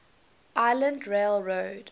island rail road